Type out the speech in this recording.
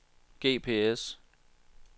GPS